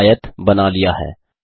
आपने आयत बना लिया है